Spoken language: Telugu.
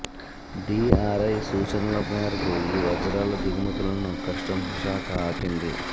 డీఆర్ఐ సూచనల మేరకు ఈ వజ్రాల దిగుమతులను కస్టమ్స్ శాఖ ఆపింది